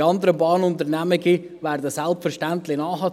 Die anderen Bahnunternehmen werden selbstverständlich nachziehen.